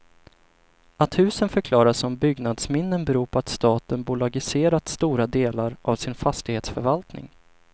Att husen förklarats som byggnadsminnen beror på att staten bolagiserat stora delar av sin fastighetsförvaltning.